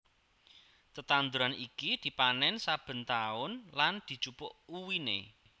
Tetanduran iki dipanèn saben taun lan dijupuk uwiné